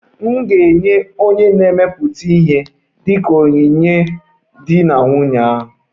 M ga-enye onye na-emepụta ihe dị ka onyinye nye di na nwunye ahụ